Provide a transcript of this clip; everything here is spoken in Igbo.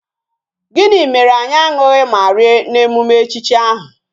Gini mere anyi añughi ma rie na emume echichi ahi.